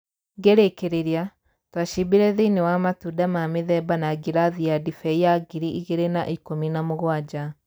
Ngĩrĩkĩrĩria, twacimbire thĩinĩ wa matunda ma mĩthemba na ngirathi ya ndibei ya ngiri igĩrĩ na ikũmi na mũgwanja.